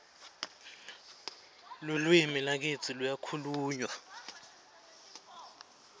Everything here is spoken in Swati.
lalwimi lakitsi luyakhulmywa